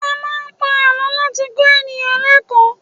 A máa ń pa àlọ́ láti kọ́ ènìyàn lékọ̀ọ́.